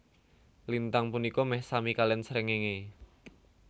Lintang punika meh sami kaliyan srengenge